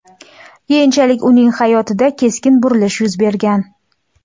Keyinchalik uning hayotida keskin burilish yuz bergan.